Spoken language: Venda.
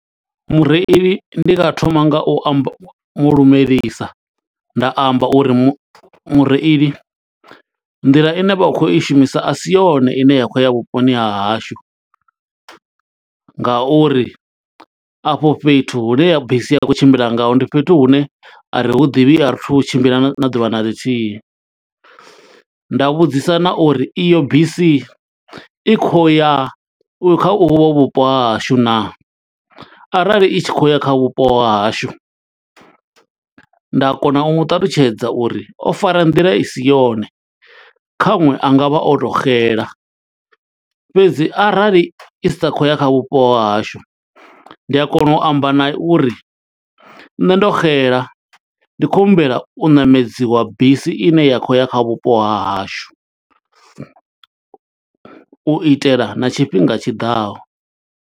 Mureili ndi nga thoma nga u amba, mulumelisa nda amba uri mu mureili, nḓila ine vha khou i shumisa asi yone ine ya khou ya vhuponi ha hashu. Nga uri afho fhethu hune bisi i khou tshimbila ngaho, ndi fhethu hune a ri hu ḓivhi, a ri thu hu tshimbila na ḓuvha na ḽithihi. Nda vhudzisa na uri iyo bisi, i khou ya kha uvho vhupo ha hashu naa, arali i tshi khou ya kha vhupo ha hashu. Nda kona u mu ṱalutshedza uri o fara nḓila i si yone, khaṅwe anga vha o to xela. Fhedzi arali i sa khou ya kha vhupo ha hashu, ndi a kona u amba naye uri, nṋe ndo xela ndi khou humbela u ṋamedziwa bisi ine ya khou ya kha vhupo ha hashu. U itela na tshifhinga tshiḓaho.